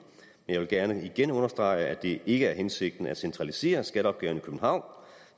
jeg vil gerne igen understrege at det ikke er hensigten at centralisere skatteopgaven i københavn